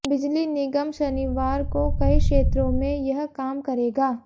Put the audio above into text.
बिजली निगम शनिवार को कई क्षेत्रों में यह काम करेगा